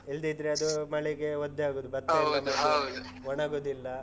ಇಲ್ದಿದ್ರೆ ಅದು ಮಳೆಗೆ ಒದ್ದೆ ಆಗುದು. . ಒಣಗುದಿಲ್ಲ.